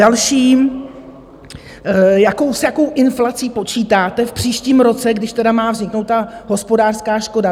Další, s jakou inflací počítáte v příštím roce, když tedy má vzniknout ta hospodářská škoda?